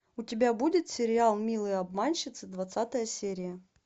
у тебя будет сериал милые обманщицы двадцатая серия